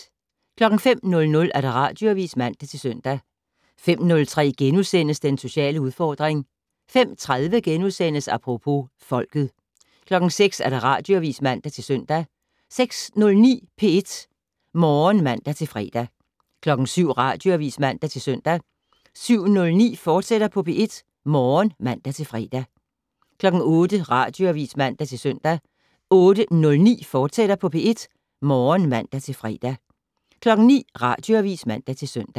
05:00: Radioavis (man-søn) 05:03: Den sociale udfordring * 05:30: Apropos - folket * 06:00: Radioavis (man-søn) 06:09: P1 Morgen (man-fre) 07:00: Radioavis (man-søn) 07:09: P1 Morgen, fortsat (man-fre) 08:00: Radioavis (man-søn) 08:09: P1 Morgen, fortsat (man-fre) 09:00: Radioavis (man-søn)